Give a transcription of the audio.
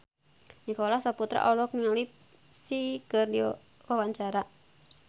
Nicholas Saputra olohok ningali Psy keur diwawancara